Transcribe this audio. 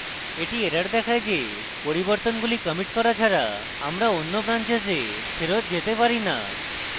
এটি error দেখায় যে পরিবর্তনগুলি কমিট করা ছাড়া আমরা অন্য branches ফেরৎ যেতে পারি না